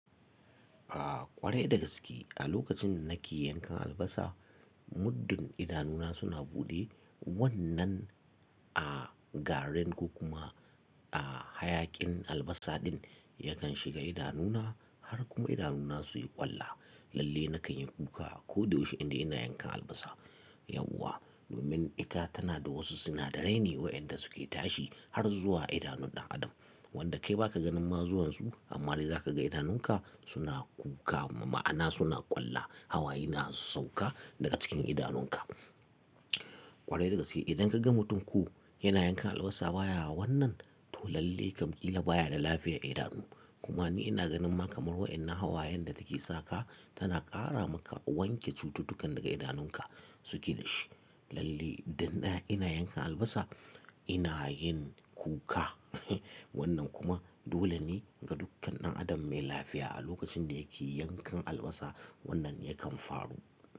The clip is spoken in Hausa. A ƙware da gaske a lokacin na ke yankan albasa muddin idanuna suna buɗe. Wannan a garen ko kuma a hayaƙin albasa din yakan shiga idanuna har kuma idanuna su yi ƙwalla. Lalle na kan yi kuka ko da yaushe inda ina yankan albasa. Yauwa domin ita tana da wasu sinadarai ne waɗanda su ke tashi har zuwa idanun ɗan adam. Wanda kai ba ka ganin mazuwansu amma dai za ka ga idanunka suna kuka ma'ana suna ƙwalla. Hawayi na sauka daga cikin idanunka. Ƙware da gaske idan ka ga mutumku yana yankan albasa baya wa wannan to lalle kamƙila baya da lafiyar idanu. Kuma ni ina ganin ma kamar wa'ina hawayen da take sa ka tana ƙara maka wanke cututtukan daga idanunka su ƙi nashi. Lalle idan ina yankan albasa ina yin kuka. Wannan kuma dole ne ga dukkan ɗan adam mai lafiya a lokacin da yake yankan albasa wannan yakan faru.